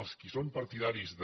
els qui són partidaris de